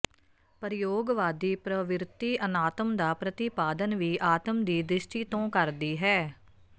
ਪ੍ਰਯੋਗਵਾਦੀ ਪ੍ਰਵਿਰਤੀ ਅਨਾਤਮ ਦਾ ਪ੍ਰਤਿਪਾਦਨ ਵੀ ਆਤਮ ਦੀ ਦ੍ਰਿਸ਼ਟੀ ਤੋਂ ਕਰਦੀ ਹੈ